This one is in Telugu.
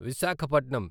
విశాఖపట్నం